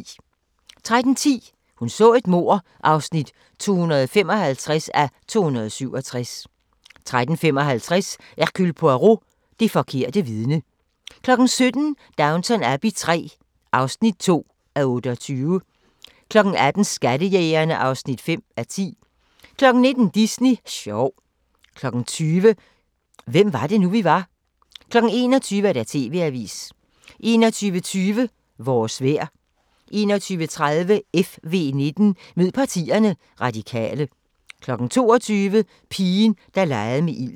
13:10: Hun så et mord (255:267) 13:55: Hercule Poirot: Det forkerte vidne 17:00: Downton Abbey III (2:28) 18:00: Skattejægerne (5:10) 19:00: Disney sjov 20:00: Hvem var det nu, vi var? 21:00: TV-avisen 21:20: Vores vejr 21:30: FV19: Mød partierne – Radikale 22:00: Pigen, der legede med ilden